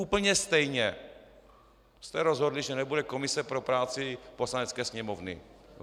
Úplně stejně jste rozhodli, že nebude komise pro práci Poslanecké sněmovny.